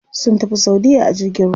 Sun tafi saudiya a jirgin ruwa.